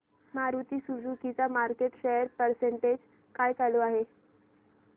Maruti Suzuki चा market share percentage काय चालू आहे